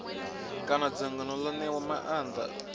kana dzangano ḽo ṋewaho maanḓa